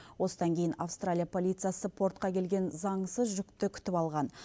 осыдан кейін австралия полициясы портқа келген заңсыз жүкті күтіп алған